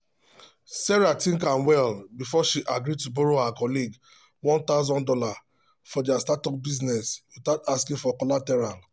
sarah think am well before she agree to borrow her colleague one thousand dollars for their startup business without asking for collateral.